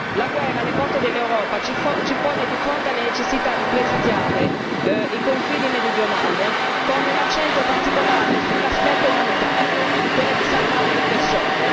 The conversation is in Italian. la guerra alle porte dell'Europa ci pone di fronte alla necessità di presidiare i confini meridionali con un accento particolare sull'aspetto umanitario, quello di salvare le persone.